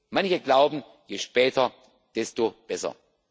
Manche glauben, je später desto besser.